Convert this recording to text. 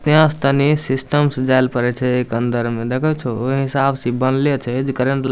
तेहे से तनी सिस्टम से जायल पड़े छै ए के अंदर में देखएय छोह ओय हिसाब से इ बनले छै जे क --